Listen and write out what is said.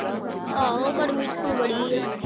ਆਹੋ ਗਰਮੀ ਟਾਹ ਹੁਣ ਬੜੀ ਆਆਹ